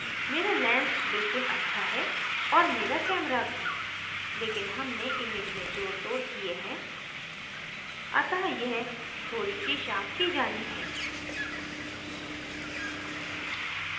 camera lens बिल्कुल अच्छा है और camera camera भी लेकिन हमने image में जोड़तोड़ किये हैं अतः यह थोड़ी my शार्प की जानी है